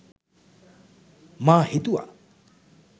මා හිතුවා